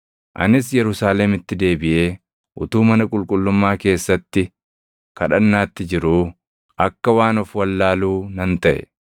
“Anis Yerusaalemitti deebiʼee utuu mana qulqullummaa keessatti kadhannaatti jiruu akka waan of wallaaluu nan taʼe.